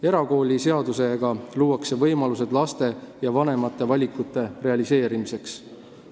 Erakooliseadusega luuakse võimalused laste ja vanemate valikute realiseerimiseks.